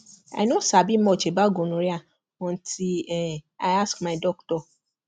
i no sabi much about gonorrhea until um i ask my doctor